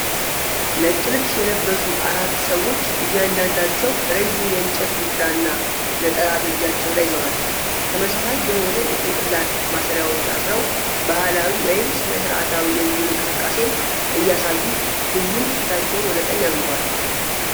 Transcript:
ነጭ ልብስ የለበሱ አራት ሰዎች እያንዳንዳቸው ረዥም የእንጨት ዱላ እና ነጠላ በእጃቸው ላይ ይዘዋል። ተመሳሳይ የሆነ የጭንቅላት ማሰሪያዎች አስረው ባህላዊ ወይም ሥነ ሥርዓታዊ የቡድን እንቅስቃሴን እያሳዩ ሁሉም ፊታቸውን ወደ ቀኝ አዙረዋል።